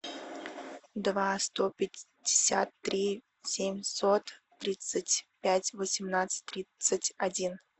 два сто пятьдесят три семьсот тридцать пять восемнадцать тридцать один